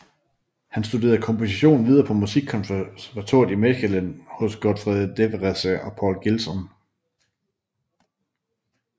Han studerede komposition videre på Musikkonservatoriet i Mechelen hos Godfried Devreese og Paul Gilson